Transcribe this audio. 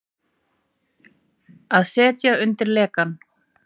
Að setja undir lekann